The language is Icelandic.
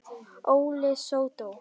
Óli sódó!